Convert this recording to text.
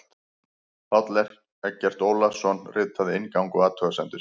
Páll Eggert Ólason ritaði inngang og athugasemdir.